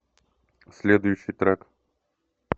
следующий трек